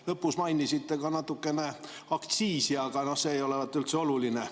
Lõpus mainisite ka natukene aktsiisi, aga see ei olevat üldse oluline.